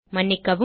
மன்னிக்கவும்